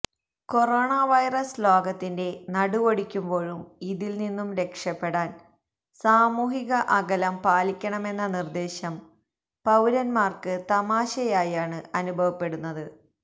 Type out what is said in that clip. coronavirus ലോകത്തിന്റെ നടുവൊടിക്കുമ്പോഴും ഇതില് നിന്നും രക്ഷപ്പെടാന് സാമൂഹിക അകലം പാലിക്കണമെന്ന നിര്ദ്ദേശം പൌരന്മാര്ക്ക് തമാശയായാണ് അനുഭവപ്പെടുന്നത്